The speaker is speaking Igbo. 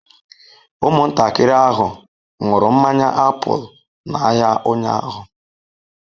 Ụmụntakịrị ahụ ṅụrụ mmanya apụl n'ahịa ụnyahụ.